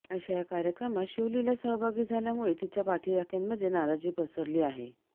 अशा या कार्यक्रमात शिवलीला सहभागी झाल्यामुळे तिच्या पाठिराख्यांमध्ये नाराजी पसरली आहे